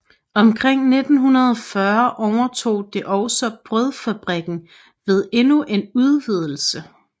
Omkring 1940 overtog det også brødfabrikken ved endnu en udvidelse